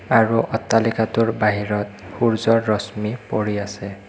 আৰু অট্টালিকাটোৰ বাহিৰত সূৰ্যৰ ৰশ্মি পৰি আছে।